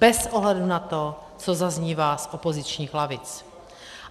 Bez ohledu na to, co zaznívá z opozičních lavic.